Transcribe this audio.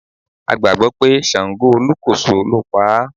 A gbàgbọ́ pé ṣàǹgó olúkòso ló paá.